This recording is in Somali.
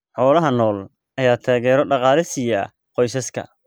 Xoolaha nool ayaa taageero dhaqaale siiya qoysaska.